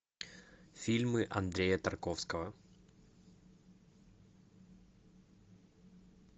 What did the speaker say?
фильмы андрея тарковского